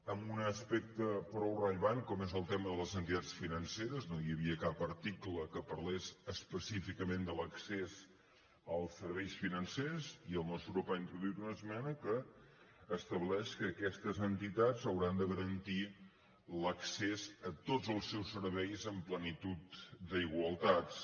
en un aspecte prou rellevant com és el tema de les entitats financeres no hi havia cap article que parlés específicament de l’accés als serveis financers i el nostre grup ha introduït una esmena que estableix que aquestes entitats hauran de garantir l’accés a tots els serveis en plenitud d’igualtats